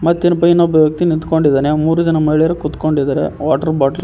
ಒಬ್ಬ ವ್ಯಕ್ತಿ ನಿಂತ್ಕೊಂಡಿದ್ದಾನೆ ಮೂರು ಜನ ಮಹಿಳೆಯರು ಕುತ್ಕೋಕೊಂಡಿದ್ದಾರೆ ವಾಟರ್ ಬಾಟಲ್ --